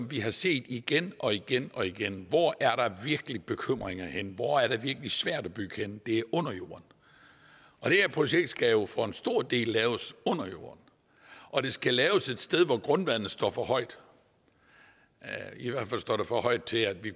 vi har set igen og igen og igen hvor er der virkelig bekymringer henne hvor er det virkelig svært at bygge henne det er under jorden og det her projekt skal jo for en stor dels vedkommende laves under jorden og det skal laves et sted hvor grundvandet står for højt i hvert fald står det for højt til at vi